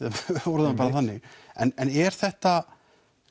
orðum það þannig en er þetta